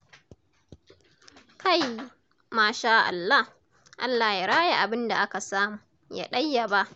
Kai! Masha Allah, Allah ya raya abinda aka samu, ya ɗayyaba.